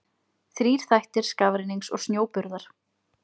Þrír þættir skafrennings og snjóburðar.